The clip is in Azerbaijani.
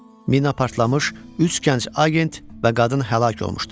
Mina partlamış, üç gənc agent və qadın həlak olmuşdu.